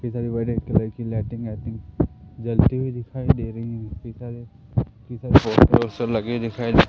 इधर बड़े कलर की लाइटिंग वाइटिंग जलती हुई दिखाई दे रही है लगे दिखाई--